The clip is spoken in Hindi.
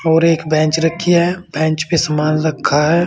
और एक बेंच रखी है बेंच पे सामान रखा है।